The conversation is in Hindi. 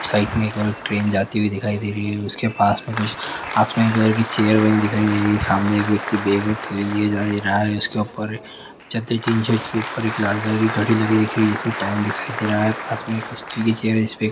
साइड मैं एक और ट्रैन जाती हुई दिखाई दे रही है उसके पास मैं कुछ आसमानी कलर की चेर बनी दिखाई दे रही हैं सामने एक व्यक्ति बेग और थैली लिए जा रहा हैं उसके ऊपर छज्जे के निचे ऊपर एक लाल कलर की घडी लगी दिख रही है जिसमे टाइम दिखाई दे रहा हैं पास मैं एक स्टील भी चेर हैं उसके